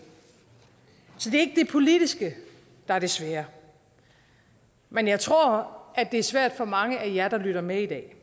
politiske der er det svære men jeg tror at det er svært for mange af jer der lytter med i dag